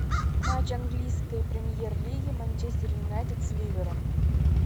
матч английской премьер лиги манчестер юнайтед с ливером